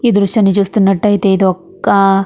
ఈ దృశ్యాన్ని చూస్తున్నట్లయితే ఇదొక --